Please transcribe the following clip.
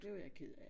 Det var jeg ked af